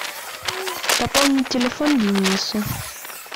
пополнить телефон денису